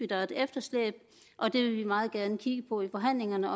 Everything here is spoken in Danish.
der er et efterslæb og det vil vi meget gerne kigge på i forhandlingerne